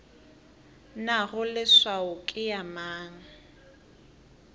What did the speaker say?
nago leswao ke ya mang